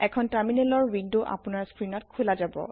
এখন টাৰমিনেলৰ ৱিনডো আপোনাৰ স্ক্ৰিনত খোলা জাব